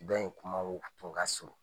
Dɔ in kuma tun ka surun